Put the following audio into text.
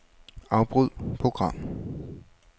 Afbryd program.